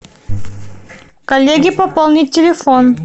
коллеге пополнить телефон